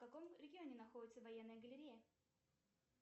в каком регионе находится военная галерея